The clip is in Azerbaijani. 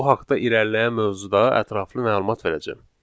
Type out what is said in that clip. Bu haqda irəliləyən mövzuda ətraflı məlumat verəcəm.